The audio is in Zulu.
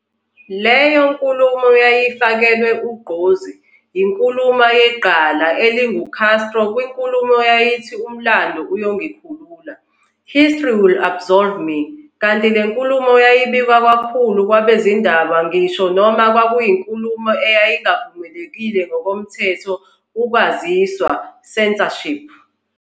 Leyo nkulumo yayifakelwe ugqozi, yinkuluma yegqala elingu-Castro kwinkulumo eyayithi umlando uyongikhulula, "History Will Absolve Me" - kanti le nkulumo yabikwa kakhulu ngabezindaba ngisho noma kwakuyinkulumo eyayingavumelekile ngokomthetho ukwaziswa, censorship.